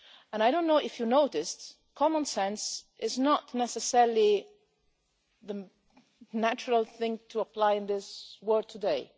I don't know if you noticed but common sense is not necessarily the natural thing to apply in this world